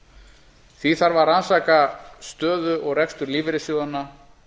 því þarf að rannsaka stöðu og rekstur lífeyrissjóðanna